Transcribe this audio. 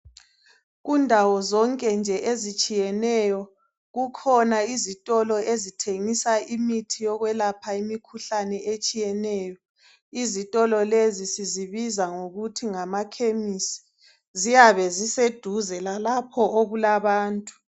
Kundawo zonke nje ezitshiyeneyo kukhona izitolo ezithengisa imithi yokwelapha imikhuhlane etshiyeneyo izitolo lezi sizibiza ngokuthi ngamakhemisi ziyabe ziseduze lalapho okulabantu.